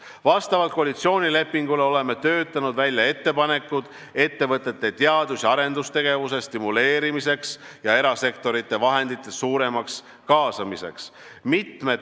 Vastavalt koalitsioonilepingule oleme töötanud välja ettepanekud ettevõtete teadus- ja arendustegevuse stimuleerimiseks ja erasektori vahendite suuremaks kaasamiseks.